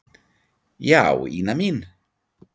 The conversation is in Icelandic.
Já, Ína mín.